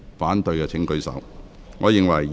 反對的請舉手。